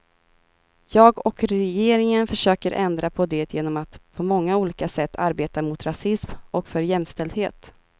Jag och regeringen försöker ändra på det genom att på många olika sätt arbeta mot rasism och för jämställdhet.